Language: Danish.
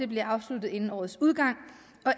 bliver afsluttet inden årets udgang